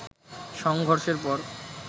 সংঘর্ষের পর